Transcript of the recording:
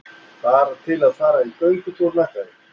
Bara til að fara í göngutúr með þau.